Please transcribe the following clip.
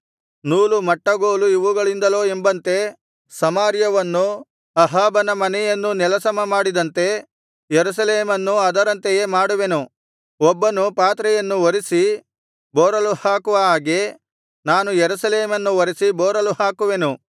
ನೂಲು ಮಟ್ಟಗೋಲು ಇವುಗಳಿಂದಲೋ ಎಂಬಂತೆ ಸಮಾರ್ಯವನ್ನೂ ಅಹಾಬನ ಮನೆಯನ್ನೂ ನೆಲಸಮಮಾಡಿದಂತೆ ಯೆರೂಸಲೇಮನ್ನೂ ಅದರಂತೆಯೇ ಮಾಡುವೆನು ಒಬ್ಬನು ಪಾತ್ರೆಯನ್ನು ಒರಸಿ ಬೋರಲು ಹಾಕುವ ಹಾಗೆ ನಾನು ಯೆರೂಸಲೇಮನ್ನು ಒರಸಿ ಬೋರಲು ಹಾಕುವೆನು